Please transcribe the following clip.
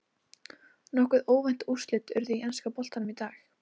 Nokkuð óvænt úrslit urðu í enska boltanum í dag.